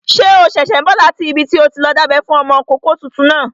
Ṣé o ṣẹ̀ṣẹ̀ n bọ̀ láti ibi tí o ti lọ dábẹ́ fún ọmọkọ́kọ́ tuntun náà?